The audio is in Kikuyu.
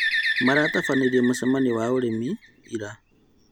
Maratabanirie mũcemanio wa arĩmi ira